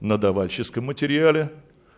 на давальческом материале